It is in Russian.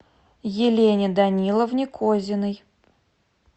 елене даниловне козиной